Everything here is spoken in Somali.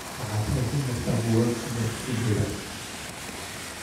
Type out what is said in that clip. Waxaad haysan kartaa buugaag fasalka sideedaad